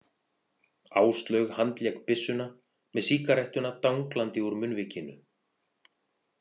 Áslaug handlék byssuna með sígarettuna danglandi úr munnvikinu.